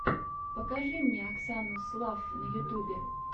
покажи мне оксану слафф на ютюбе